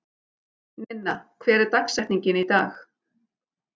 Ninna, hver er dagsetningin í dag?